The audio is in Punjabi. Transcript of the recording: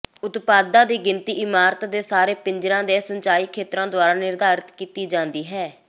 ਉਤਪਾਦਾਂ ਦੀ ਗਿਣਤੀ ਇਮਾਰਤ ਦੇ ਸਾਰੇ ਪਿੰਜਰਾਂ ਦੇ ਸਿੰਜਾਈ ਖੇਤਰ ਦੁਆਰਾ ਨਿਰਧਾਰਤ ਕੀਤੀ ਜਾਂਦੀ ਹੈ